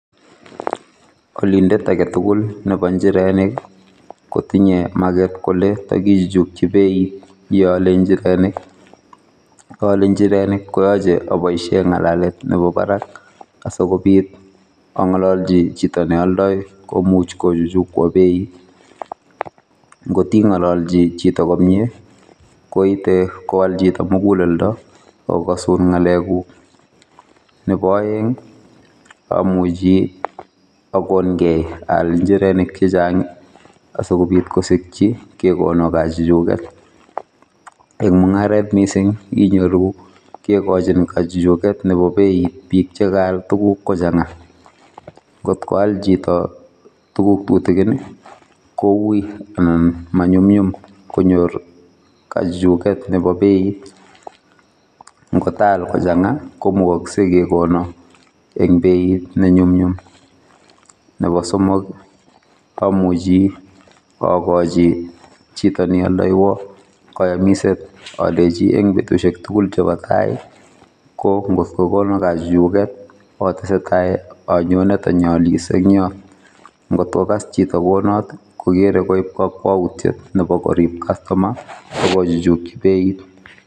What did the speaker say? Olindet agetugul nebo njirenik kotinye maget kole takichuchuji beit iole njirenik. Yeaole njirenik koyache aboisie ngalalet nebo barak asikobiit angololji chito ne oldoi komuch kochuchukwo beit. Ngoti ngololchi chito komye koite kowal chito muguleldo agokasun ngalekuk. Neboaeng amuji agongei aal njirenik chechang asikobiit kosikyi kekono kachuchuget. Eng mungaret mising inyoru kegochin kachuchuget nebo beit biik che kaal tuguk kochanga ngotkoal chito tuguk tutigin koui anan manyumnyum konyor kachuchuget nebo beit ngotaal kochanga komukaksei kekono eng beit nemyumnyum. Nebo somok amuji akoji chito ne oldoiwo kayamiset aleji eng betusiek tugul chebo tai ko ngotko kono kachuchuget atesetai anyone tanyaalis engyot ngotkokas chito kounot kokere koib kakwautiet nebo korib kastoma akochuchukyi beit.